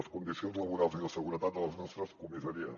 les condicions laborals i de seguretat de les nostres comissaries